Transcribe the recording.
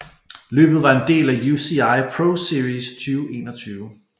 Løbet var en del af UCI ProSeries 2021